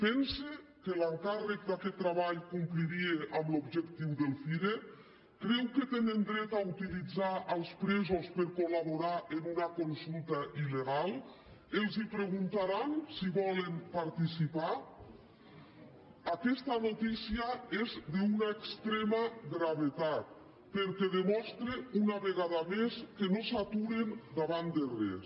pensa que l’encàrrec d’aquest treball compliria amb l’objectiu del cire creu que tenen dret a utilitzar els presos per colguntaran si hi volen participar aquesta notícia és d’una extrema gravetat perquè demostra una vegada més que no s’aturen davant de res